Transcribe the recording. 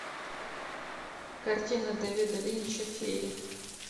картина дэвида линча феи